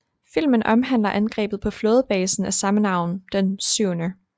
Filmen omhandler angrebet på flådebasen af samme navn den 7